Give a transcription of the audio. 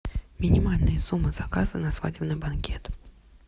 минимальная сумма заказа на свадебный банкет